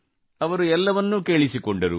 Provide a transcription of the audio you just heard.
ಅವರು ಎಲ್ಲವನ್ನೂ ಕೇಳಿಸಿಕೊಂಡರು